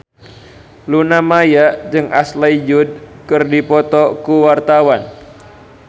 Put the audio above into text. Luna Maya jeung Ashley Judd keur dipoto ku wartawan